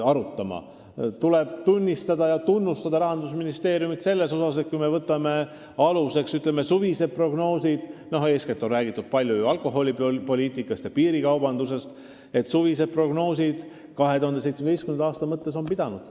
Rahandusministeeriumit tuleb tunnustada selles eest, et kui me võtame aluseks suvised prognoosid – eeskätt on räägitud palju alkoholipoliitikast ja piirikaubandusest –, siis suvised prognoosid 2017. aasta mõttes on pidanud.